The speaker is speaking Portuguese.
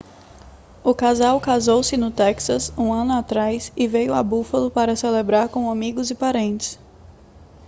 o casal casou-se no texas um ano atrás e veio a buffalo para celebrar com amigos e parentes